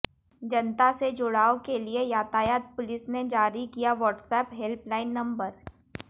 जनता से जुड़ाव के लिए यातायात पुलिस ने जारी किया वाट्सएप हैल्प लाईन नम्बर